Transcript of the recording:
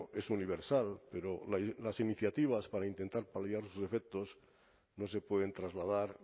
es universal pero las iniciativas para intentar paliar sus efectos no se pueden trasladar